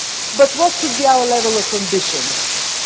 But what should our level of ambition